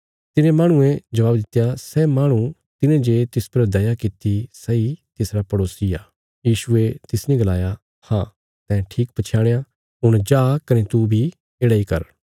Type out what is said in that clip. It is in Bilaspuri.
तिने माहणुये जवाब दित्या सै माहणु तिने जे तिस पर दया किति सैई तिसरा पड़ेसी हुआ यीशुये तिसने गलाया हाँ तैं ठीक पछयाणया हुण जा कने तू बी येढ़ा इ कर